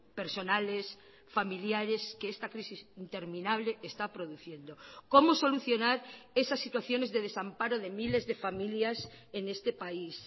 personales familiares que esta crisis interminable está produciendo cómo solucionar esas situaciones de desamparo de miles de familias en este país